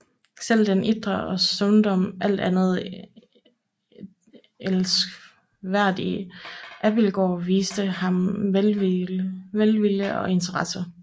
Selv den iltre og stundom alt andet end elskværdige Abildgaard viste ham velvilje og interesse